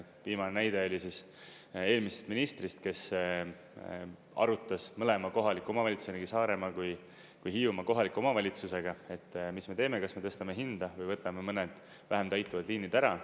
Viimane näide oli siis eelmisest ministrist, kes arutas mõlema kohaliku omavalitsuse, nii Saaremaa kui Hiiumaa kohaliku omavalitsusega, et mis me teeme, kas me tõstame hinda või võtame mõned vähem täituvad liinid ära.